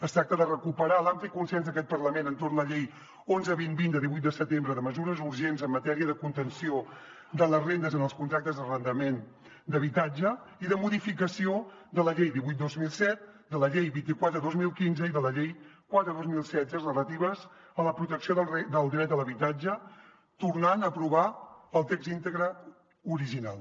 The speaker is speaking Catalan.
es tracta de recuperar l’ampli consens en aquest parlament entorn la llei onze dos mil vint de divuit de setembre de mesures urgents en matèria de contenció de les rendes en els contractes d’arrendament d’habitatge i de modificació de la llei divuit dos mil set de la llei vint quatre dos mil quinze i de la llei quatre dos mil setze relatives a la protecció del dret a l’habitatge tornant a aprovar el text íntegre original